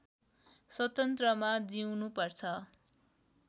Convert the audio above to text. स्वतन्त्रमा जिउनु पर्छ